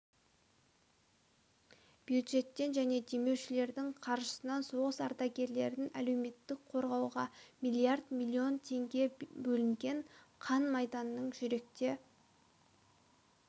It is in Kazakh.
бюджеттен және демеушілердің қаржысынан соғыс ардагерлерін әлеуметтік қорғауға миллиард миллион теңге бөлінген қан майданның жүректе